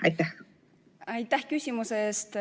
Aitäh küsimuse eest!